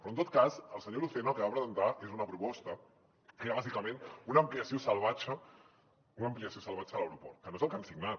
però en tot cas el senyor lucena el que va presentar és una proposta que era bàsicament una ampliació salvatge una ampliació salvatge de l’aeroport que no és el que han signat